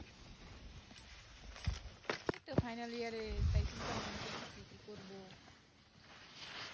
এইতো final year এ তাই চিন্তা ভাবনা করতেছি যে কি করবো